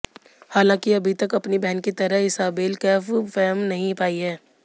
हालांकि अभी तक अपनी बहन की तरह इसाबेल कैफ फेम नहीं पाई है